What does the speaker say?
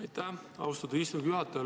Aitäh, austatud istungi juhataja!